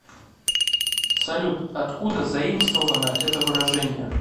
салют откуда заимствовано это выражение